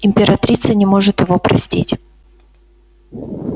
императрица не может его простить